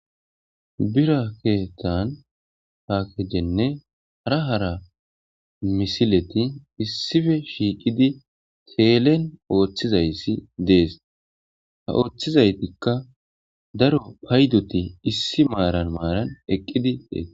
Bira keethan paakejenne hara hara misileti issipe shiqidi teelen oothizaysi dees ha oothizaytika daro paydon issi maaran eqqidi deettees.